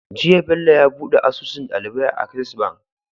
Jiya Bello yabuɗe asusun ɗalibai a access bank